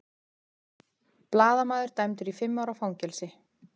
Blaðamaður dæmdur í fimm ára fangelsi